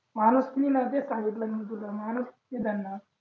माणूस कीच्या नात्याने सांगितलं मी तुला